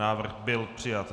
Návrh byl přijat.